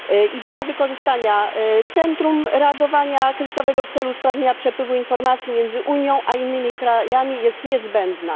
Idea wykorzystania centrum reagowania kryzysowego w celu usprawnienia przepływu informacji między Unią a innymi krajami jest niezbędna.